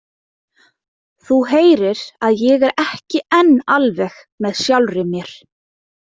Þú heyrir að ég er ekki enn alveg með sjálfri mér.